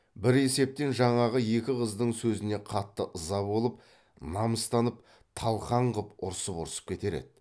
бір есептен жаңағы екі қыздың сөзіне қатты ыза болып намыстанып талқан қып ұрысып ұрысып кетер еді